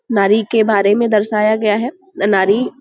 नारी के बारे में दर्शाया गया है। न- नारी --